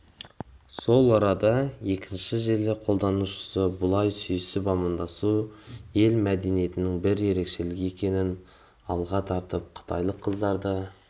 сол арада екінші желі қолданушысы бұлай сүйісіп-амандасу ел мәдениетінің бір ерекшелігі екенін алға тартып қытайлық қыздарды